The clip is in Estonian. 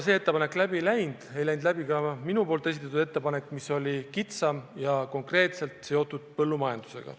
See ettepanek läbi ei läinud ja ei läinud läbi ka minu esitatud ettepanek, mis oli kitsam ja seotud konkreetselt põllumajandusega.